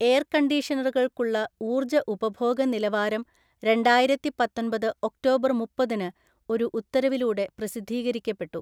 എയര്‍കണ്ടീഷനറുകള്‍ക്കുള്ള ഊർജ്ജ ഉപഭോഗ നിലവാരം രണ്ടായിരത്തി പത്തൊന്‍പത് ഒക്ടോബർ മുപ്പതിന് ഒരു ഉത്തരവിലൂടെ പ്രസിദ്ധീകരിക്കപ്പെട്ടു.